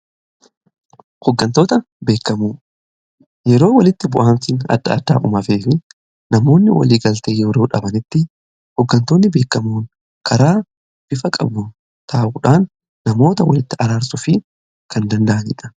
Hooggantootni beekamoo yeroo walitti bu'iinsi adda addaa uumamee fi namoonni walii galtee yeroo dhabanitti hooggantoonni beekamoon karaa bifa qabu taa'uudhaan namoota walitti araarsuu fi kan danda'anidha.